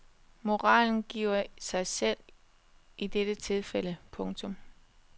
Moralen giver sig selv i dette tilfælde. punktum